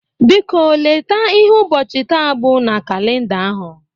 Biko, leta ihe ụbọchị taa bụ na kalịnda ahụ.